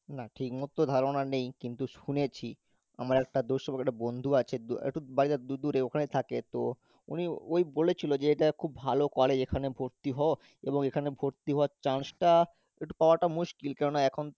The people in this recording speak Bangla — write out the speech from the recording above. না ঠিকমতো ধারণা নেই কিন্তু শুনেছি, আমার একটা দূর সম্পর্কের বন্ধু আছে দ~ একটু বাড়িটা দু~ দূরে ওখানেই থাকে তো উনি ওই বলেছিল যে এটা খুব ভালো college এখানে ভর্তি হ এবং এখানে ভর্তি হওয়ার chance টা একটু পাওয়া টা মুশকিল কেননা এখন তো